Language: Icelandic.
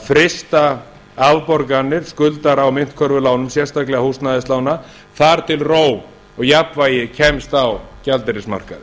frysta afborganir skulda á myntkörfulánum sérstaklega húsnæðislána þar til ró og jafnvægi kemst á gjaldeyrismarkaðinn